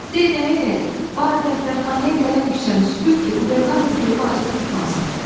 De nəyədək barı dəftərxanaya gələn küçəni süpürt ki, qubernator görüb acığı tutmasın.